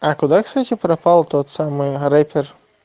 а куда кстати пропал тот самый рэпер